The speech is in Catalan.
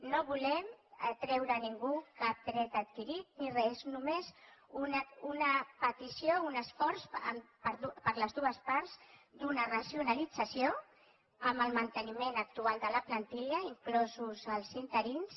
no volem treure a ningú cap dret adquirit ni re és només una petició un esforç per les dues parts d’una racionalització amb el manteniment actual de la plantilla inclosos els interins